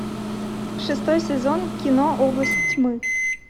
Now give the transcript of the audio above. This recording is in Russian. шестой сезон кино область тьмы